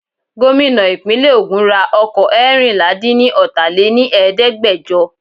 Gómìnà ìpínlè ogún ra ọkọ̀ Ẹẹ́rìnlà dín ni ọta lè ní Ẹ̀ẹ́dẹ́gbẹjọ.